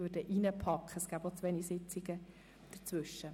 Es fänden dazwischen auch zu wenige Sitzungen statt.